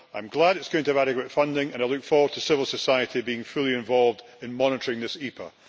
I am glad it is going to have adequate funding and I look forward to civil society being fully involved in monitoring this EPA.